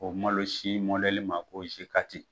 O malosi ma ko